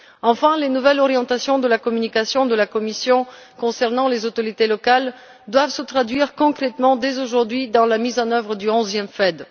Enfin, les nouvelles orientations de la communication de la Commission concernant les autorités locales doivent se traduire concrètement dès aujourd'hui dans la mise en œuvre du 11e FED.